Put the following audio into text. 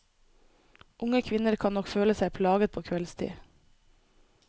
Unge kvinner kan nok føle seg plaget på kveldstid.